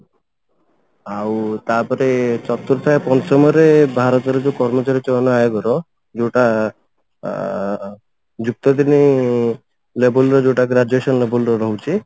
ଆଉ ତାପରେ ଚତୁର୍ଥ ପଞ୍ଚମରେ ଭାରତରେ ଯଉ କର୍ମଚାରୀ ଚୟନ ଆଗର ଯଉଟା ଅ ଯୁକ୍ତ ତିନି label ର ଯଉଟା graduation label ର ରହୁଛି